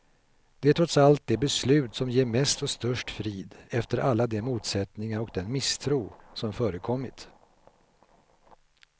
Det är trots allt det beslut som ger mest och störst frid, efter alla de motsättningar och den misstro som förekommit.